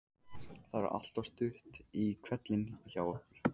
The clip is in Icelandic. Það er alltaf stutt í hvellinn hjá okkur.